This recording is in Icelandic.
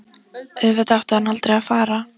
Auðvitað átti hann aldrei að fara.